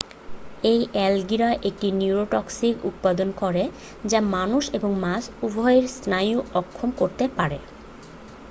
এই অ্যালগিরা একটি নিউরোটক্সিন উৎপাদন করে যা মানুষ এবং মাছ উভইয়েরই স্নায়ু অক্ষম করতে পারে